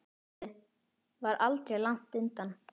Glottið var aldrei langt undan.